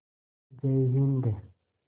जय हिन्द